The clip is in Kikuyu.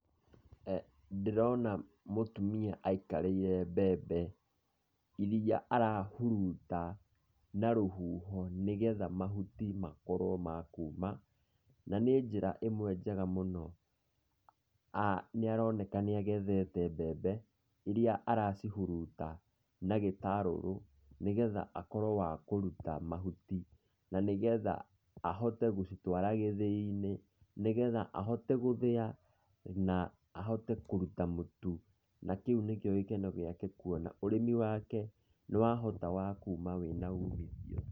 Ndĩrona mũtumia aikarĩire mbembe iria arahuruta na rũhuho nĩgetha mahuti makorwo makuuma, na nĩ njĩra ĩmwe njega mũno. Nĩaroneka nĩagethete mbembe iria aracihuruta na gĩtarũrũ nĩgetha akorwo wa kũruta mahuti, na nĩgetha ahote gũcitwara gĩthĩi-inĩ, nĩgetha ahote gũthĩa na ahote kũruta mũtu. Nakĩu nĩkĩo gĩkeno gĩake kuona ũrĩmi wake nĩwahota wa kuuma wĩna umithio.